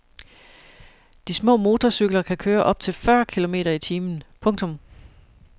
De små motorcykler kan køre op til fyrre kilometer i timen. punktum